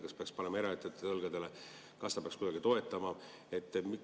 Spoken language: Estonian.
Kas peaks panema koorma eraettevõtjate õlgadele ja riik peaks kuidagi toetama?